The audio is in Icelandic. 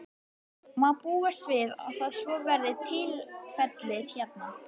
Má búast við að það, svo verði tilfellið hérna?